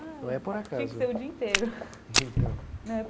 Não é por acaso. Tem que ser o dia inteiro. Então.